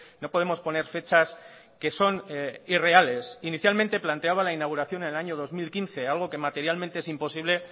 no podemos poner fechas que son irreales inicialmente planteaba la inauguración en el año dos mil quince algo que materialmente es imposible